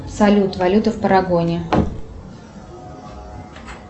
салют валюта в парагоне